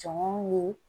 Jɔn ye